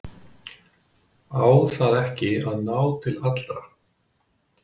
Á það ekki að ná til allra?